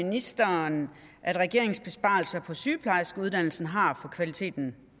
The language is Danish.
ministeren at regeringens besparelser på sygeplejerskeuddannelsen har for kvaliteten